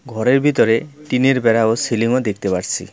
ঘরের ভিতরে টিনের বেড়া ও সিলিং -ও দেখতে পারসি।